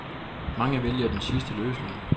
Mange vælger den sidste løsning.